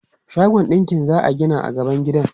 Shagon ɗinki za a gina a gaban gidan.